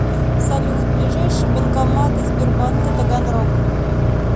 салют ближайшие банкоматы сбербанка таганрог